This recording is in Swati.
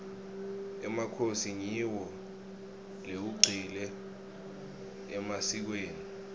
emakhosi ngiwo lewagcile emasikweni